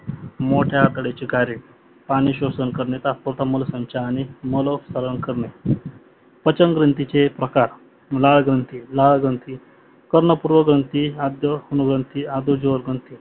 मोट्या अतड्याचे कार्य पाणी स्वसन करणे, तात्पसमोलण संच, आणि माल उपचारण करणे प्रचंन ग्रंथीचे प्रकार लाळ ग्रंथी लाळ ग्रंथी, कर्ण पूर्व ग्रंथी, आद्य अनुग्रंथी, दजीव ग्रंथी